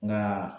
Nka